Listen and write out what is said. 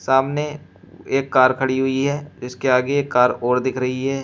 सामने एक कार खड़ी हुई है जिसके आगे एक कार और दिख रही है।